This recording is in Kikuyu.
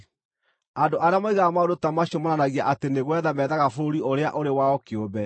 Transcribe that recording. Andũ arĩa moigaga maũndũ ta macio monanagia atĩ nĩ gwetha methaga bũrũri ũrĩa ũrĩ wao kĩũmbe.